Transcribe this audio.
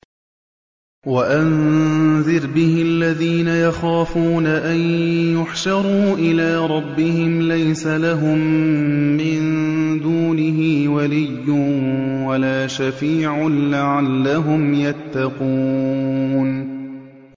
وَأَنذِرْ بِهِ الَّذِينَ يَخَافُونَ أَن يُحْشَرُوا إِلَىٰ رَبِّهِمْ ۙ لَيْسَ لَهُم مِّن دُونِهِ وَلِيٌّ وَلَا شَفِيعٌ لَّعَلَّهُمْ يَتَّقُونَ